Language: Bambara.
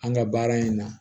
An ga baara in na